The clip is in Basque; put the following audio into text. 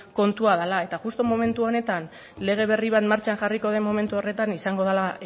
kontua dela eta justu momentu honetan lege berri bat martxan jarriko den momentu horretan izango dela